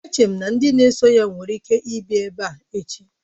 Eche m na ndị na-eso ya nwere ike ịbịa ebe a n'echi